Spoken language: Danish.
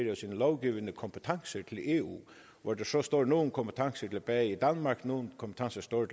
af sine lovgivende kompetencer til eu og så står nogle kompetencer tilbage i danmark og nogle kompetencer står